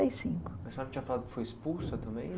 cinco. A senhora tinha falado que foi expulsa também?